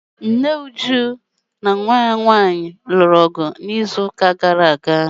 Nne Uju na nwa ya nwanyị lụrụ ọgụ n'izu gara aga.